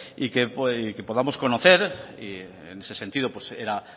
y que podamos conocer y en ese sentido era